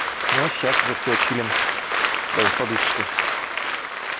ну сейчас уже всё чилим даже с подушечкой